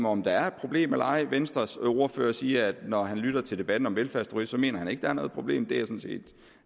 om der er et problem eller ej venstres ordfører siger at når han lytter til debatten om velfærdsturisme mener han ikke der er noget problem det er